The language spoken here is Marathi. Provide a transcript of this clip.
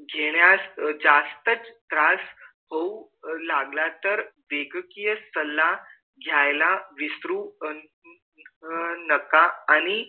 जेण्यास जास्तच त्रास होऊ लागला तर वैद्यकीय सल्ला घ्यायला विसरू नका आणि